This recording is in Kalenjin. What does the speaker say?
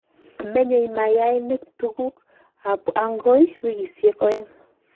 menyei mayainik tuguk ab kot agoi wikishek oeng